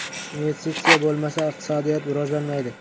Investitsiya bo‘lmasa, iqtisodiyot rivojlanmaydi.